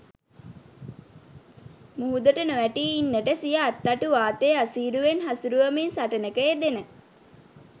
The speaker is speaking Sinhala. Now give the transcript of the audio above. මුහුදට නොවැටී ඉන්නට සිය අත්තටු වාතයේ අසීරුවෙන් හසුරුවමින් සටනක යෙදෙන